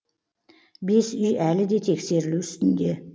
бес үй әлі де тексерілу үстінде